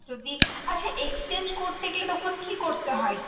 যদি আর হ্যাঁ exchange করতে গেলে তখন কি করতে হয়?